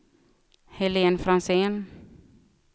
Helene Franzén